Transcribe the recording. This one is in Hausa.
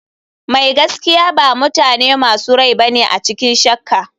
Mai gaskiya ba mutane masu rai bane a cikin shakka.